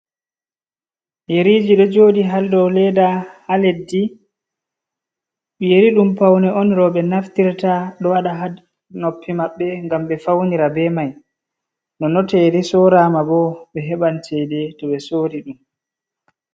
Yeriji ɗo joodi ha leddi, yeri ɗum paune on rewɓe naftirta do wada ha noppi maɓɓe gam be faunira be mai, nonon to ɓe soranma bo ɓe heɓan ceede to ɓe sorri ɗum.